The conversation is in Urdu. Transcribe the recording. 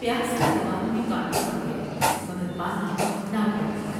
پیاس سے زبان میں کانٹے پڑ گئے مگر پانی ناپید تھا ۔